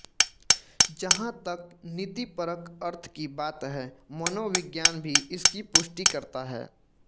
जहाँ तक नीतिपरक अर्थ की बात है मनोविज्ञान भी इसकी पुष्टि करता है